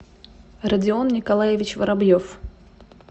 родион николаевич воробьев